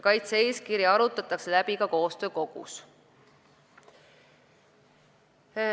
Kaitse-eeskiri arutatakse läbi ka koostöökogus.